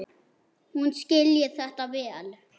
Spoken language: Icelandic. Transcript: Hún skilji þetta vel.